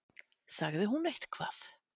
Sagði hún eitthvað?